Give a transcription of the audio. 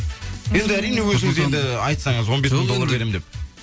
енді әрине өзіңіз енді айтсаңыз он бес мың доллар беремін деп